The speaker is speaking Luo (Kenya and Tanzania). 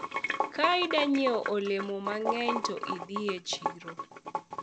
ka idwa nyiewo olemo mang'eny to idhi e chiro